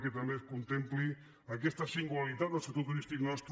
que també es contempli aquesta singularitat del sector turístic nostre